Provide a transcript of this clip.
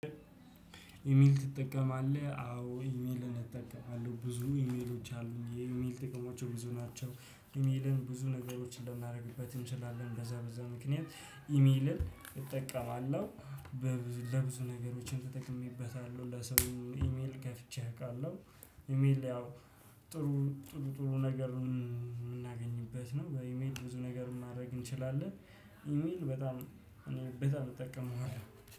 ኢሜል ትጠቀማለህ አዎ ኢሜልን እጠቀማለሁ ብዙ ኢሜሎች አሉኝ የኢሜል ጥቅሞቹ ብዙ ናቸው። ኢሜልን ብዙ ነገሮችን ልናደርግበት እንችላለን በዛ በዛ ምክንያት ኢሜልን እጠቀማለሁ። ለብዙ ለብዙ ነገሮችን ተጠቅሜበታለሁ ለሰው ኢሜል ከፍቼ እውቃለሁ። ኢሜል ያው ጥሩ ጥሩ ጥሩ ነገር የምናገኝበት ነው። በኢሜል ብዙ ነገር ማድረግ እንችላለን። ኢሜል በጣም እኔ በጣም እጠቀመዋለሁ